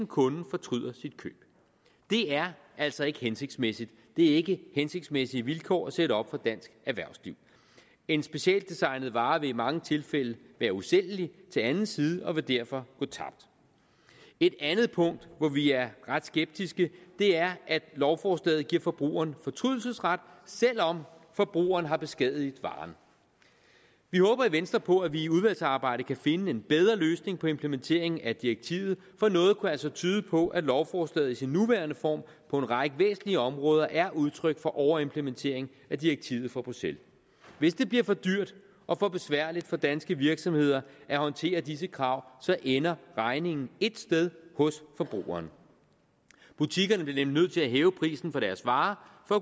kunden fortryder sit køb det er altså ikke hensigtsmæssigt det er ikke hensigtsmæssige vilkår at sætte op for dansk erhvervsliv en specialdesignet vare vil i mange tilfælde være usælgelig til anden side og vil derfor gå tabt et andet punkt hvor vi er ret skeptiske er at lovforslaget giver forbrugeren fortrydelsesret selv om forbrugeren har beskadiget varen vi håber i venstre på at vi i udvalgsarbejdet kan finde en bedre løsning på implementeringen af direktivet for noget kunne altså tyde på at lovforslaget i sin nuværende form på en række væsentlige områder er udtryk for overimplementering af direktivet fra bruxelles hvis det bliver for dyrt og for besværligt for danske virksomheder at håndtere disse krav ender regningen ét sted hos forbrugeren butikkerne bliver nemlig nødt til at hæve prisen på deres varer for